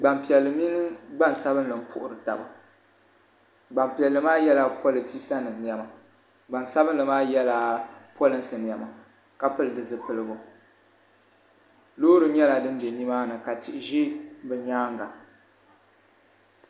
gbaŋ' piɛlli mini gbaŋ' sabinli m-puhiri taba gbaŋ' piɛlli maa yela politisa nima nema gbaŋ' sabinli maa yela polinsi nema ka pili di zupiligu loori nyɛla din be ni maa ni ka tihi ʒe bɛ nyaaga.